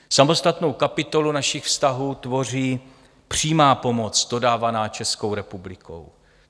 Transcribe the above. Samostatnou kapitolu našich vztahů tvoří přímá pomoc dodávaná Českou republikou.